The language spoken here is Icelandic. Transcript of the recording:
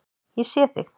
Ég sé þig.